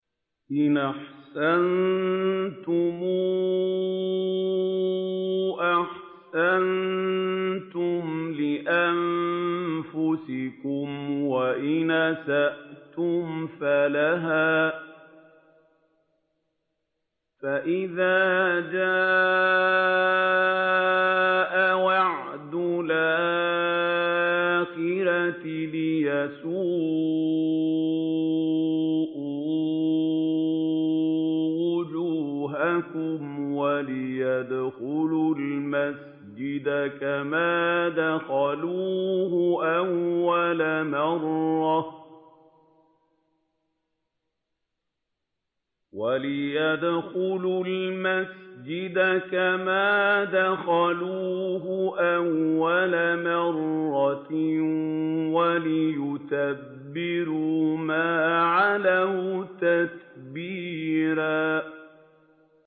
إِنْ أَحْسَنتُمْ أَحْسَنتُمْ لِأَنفُسِكُمْ ۖ وَإِنْ أَسَأْتُمْ فَلَهَا ۚ فَإِذَا جَاءَ وَعْدُ الْآخِرَةِ لِيَسُوءُوا وُجُوهَكُمْ وَلِيَدْخُلُوا الْمَسْجِدَ كَمَا دَخَلُوهُ أَوَّلَ مَرَّةٍ وَلِيُتَبِّرُوا مَا عَلَوْا تَتْبِيرًا